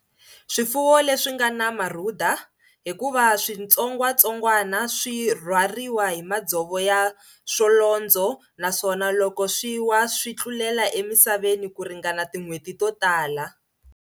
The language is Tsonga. Swifuwo leswi nga na marhuda, hikuva switsongwatsongwana swi rhwariwa hi madzovo ya swolondzo naswona loko swi wa swi tlulela emisaveni ku ringana tin'hweti to tala.